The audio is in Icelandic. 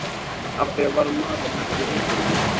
Af hverju varð maðurinn ekki rithöfundur?